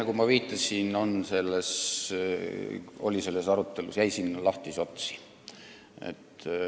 Nagu ma viitasin, jäi selles arutelus lahtisi otsi.